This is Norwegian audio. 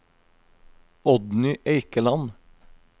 Oddny Eikeland